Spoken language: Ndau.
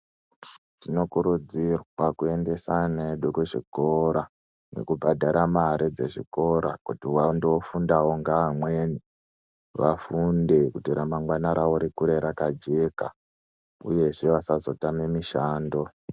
Tino kurudzirwa ku endesa ana edu ku zvikora ngeku bhadhara mare dze zvikora kuti vando fundawo nge amweni vafunde kuti ra mangwana rikure raka jeka uyezve vasazo tama mishando.